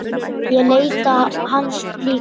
Ég leita hans líka.